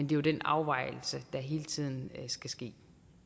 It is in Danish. jo den afvejning der hele tiden skal ske